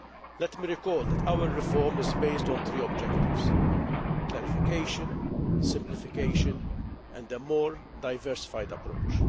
Let me recall that our reform is based on three objectives clarification, simplification and a more diversified approach.